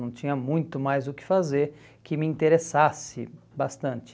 Não tinha muito mais o que fazer que me interessasse bastante.